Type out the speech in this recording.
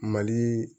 Mali